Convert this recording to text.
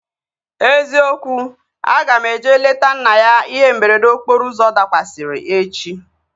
Eziokwu, aga m eje leta nna ya ihe mberede okporo ụzọ dakwasịrị echi